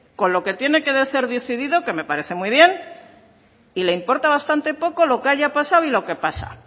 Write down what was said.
con lo que tiene que ser decidido que me parece muy bien y le importa bastante poco lo que haya pasado y lo que pasa